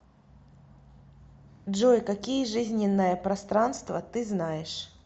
джой какие жизненное пространство ты знаешь